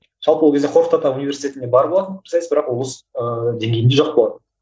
жалпы ол кезде қорқыт ата университетінде бар болатын пікірсайыс бірақ ыыы облыс деңгейінде жоқ болатын